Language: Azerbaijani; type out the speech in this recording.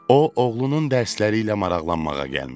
O, oğlunun dərsləri ilə maraqlanmağa gəlmişdi.